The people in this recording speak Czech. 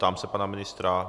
Ptám se pana ministra.